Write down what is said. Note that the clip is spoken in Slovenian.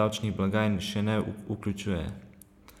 davčnih blagajn še ne vključuje.